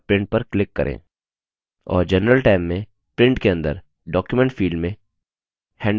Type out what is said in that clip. और general tab में print के अंदर document field में handout चुनें